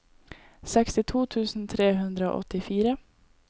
sekstito tusen tre hundre og åttifire